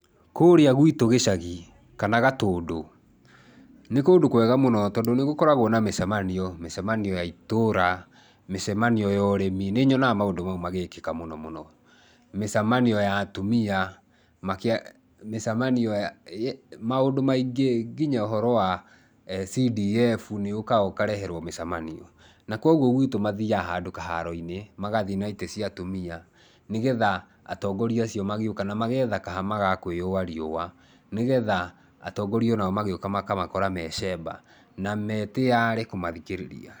Kũrĩa gwitũ gĩcagi, kana Gatũndũ, nĩ kũndũ kwega mũno tondũ nĩ gũkoragwo na mĩcemanio. Mĩcemanio ya itũra, mĩcemanio ya ũrĩmi, nĩ nyonaga maũndũ mau magĩĩkika mũnomũno. Mĩcemanio ya atumia makĩarĩa, mĩcemanio ya maũndũ maingĩ, nginya ũhoro wa CDF nĩ ũkaga ũkareherwo mĩcemanio. Na kwoguo gwitũ mathiaga handũ kaharo-inĩ, magathi na itĩ cia atumia nĩgetha atongoria acio magĩuka, na mageetha kahama ga kũĩũa riũa, nĩgetha atongoria o nao magĩũka makamakora me shemba na me tĩarĩ kũmathikĩrĩria.